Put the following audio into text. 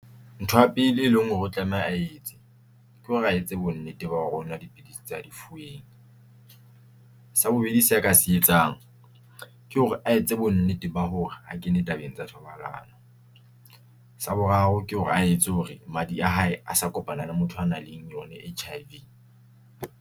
Ntho ya pele e leng hore o tlameha a etse ke hore a etse bonnete ba hore onwa dipidisi tsa di fuweng, sa bobedi se ka se etsang ke hore a etse bonnete ba hore ha kene tabeng tsa thobalano, sa boraro ke hore a etse hore madi a hae asa kopana le motho a nang le eng yone H_I_V.